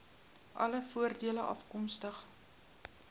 alle voordele afkomstig